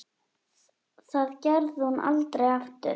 Það gerði hún aldrei aftur.